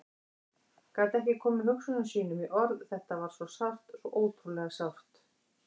Gat ekki komið hugsunum sínum í orð, þetta var svo sárt, svo ótrúlega sárt.